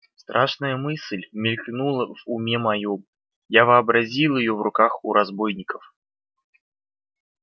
страшная мысль мелькнула в уме моём я вообразил её в руках у разбойников